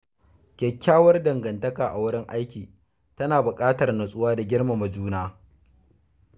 Kyakkyawar dangantaka a wurin aiki tana buƙatar natsuwa da girmama juna.